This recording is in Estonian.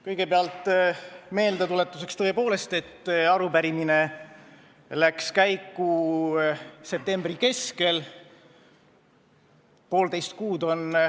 Kõigepealt ütlen meeldetuletuseks, et arupärimine läks käiku septembri keskel.